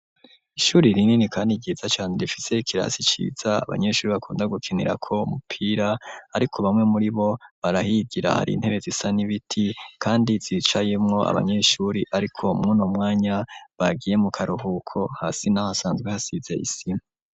Ishuri rinini kandi ryiza cane, rifise ikirasi ciza abanyeshuri bakunda gukinirako umupira, ariko bamwe muri bo barahigira; hari intebe zisa n'ibiti, kandi zicayemwo abanyeshuri ariko mw'uno mwanya, bagiye mu karuhuko; hasi naho hasanzwe hasize isima.